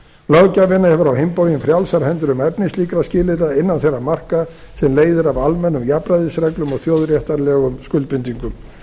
löggjafinn hefur á hinn bóginn frjálsar hendur um efni slíkra skilyrða innan þeirra marka sem leiðir af almennum jafnræðisreglum og þjóðréttarlegum skuldbindingum